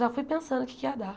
Já fui pensando o que é que ia dar.